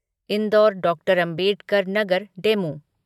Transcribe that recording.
Indoor Dr. Ambedkar Nagar DEMU